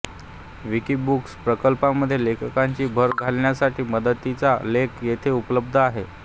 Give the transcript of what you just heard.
Wikibooks प्रकल्पामध्ये लेखांची भर घालण्यासाठी मदतीचा लेख येथे उपलब्ध आहे